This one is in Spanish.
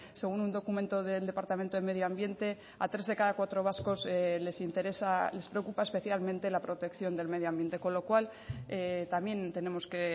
según un documento del departamento de medio ambiente a tres de cada cuatro vascos les interesa les preocupa especialmente la protección del medio ambiente con lo cual también tenemos que